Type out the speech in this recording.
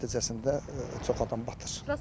Bunun nəticəsində çox adam batır.